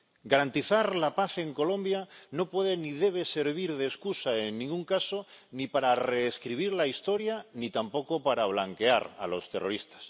Garantizar la paz en Colombia no puede ni debe servir de excusa, en ningún caso, ni para reescribir la historia, ni tampoco para blanquear a los terroristas.